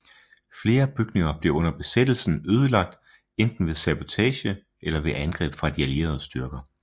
Flere bygninger blev under besættelsen ødelagt enten ved sabotage eller ved angreb fra de allierede styrker